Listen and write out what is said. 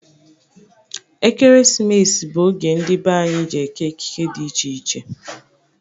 Ekeresimesi bụ oge ndị be anyị jị eke ekike dị iche iche.